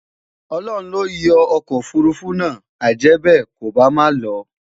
Ọlọhun loyo okò òfurufú nà, ajèbe, kò bá má ló